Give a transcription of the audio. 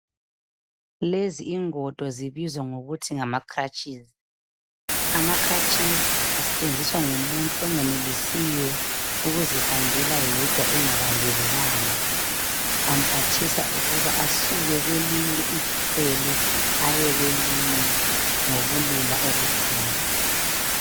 Lezi ingodo zibizwa ngokuthi ngama clutches ama clutches asetshenziswa ngumuntu ongenelisiyo ukuzihambela yedwa engabambelelanga amphathisa ukuba asuke kwelinye icele aye kwelinye ngobulula obukhulu.